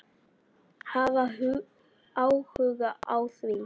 Hafa áhuga á því.